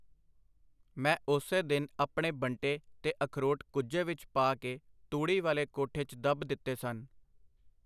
ਮੈਂ ਉਸੇ ਦਿਨ ਆਪਣੇ ਬੰਟੇ ਤੇ ਅਖਰੋਟ ਕੁੱਜੇ ਵਿੱਚ ਪਾ ਕੇ ਤੂੜੀ ਵਾਲੇ ਕੋਠੇ 'ਚ ਦੱਬ ਦਿੱਤੇ ਸਨ.